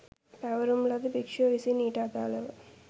පැවරුම් ලද භික්‍ෂුව විසින් ඊට අදාළව